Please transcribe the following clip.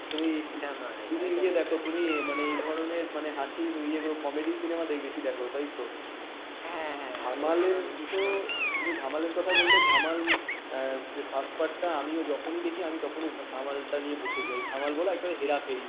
তুমি ধামালের কথা বললে ধামাল first part যখনই দেখি তখনই ধামাইল টা নিয়ে বসে চাই ধামাল বলা একটা হেরা ফেরি হেরাফেরি